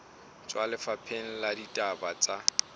tswa lefapheng la ditaba tsa